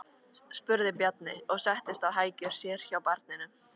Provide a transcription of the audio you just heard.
spurði Bjarni og settist á hækjur sér hjá barninu.